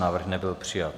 Návrh nebyl přijat.